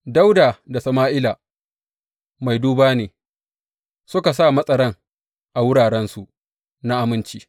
Dawuda da Sama’ila mai duba ne suka sa matsaran a wurarensu na aminci.